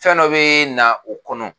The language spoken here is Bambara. Fɛn dɔ bi na o kɔnɔ